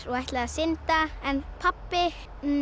og ætlaði að synda en pabbinn